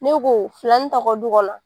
Ne ko filanin t'aw ka du kɔnɔ